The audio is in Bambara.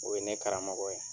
O ye ne karamɔgɔ ye.